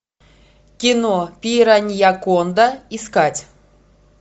кино пираньяконда искать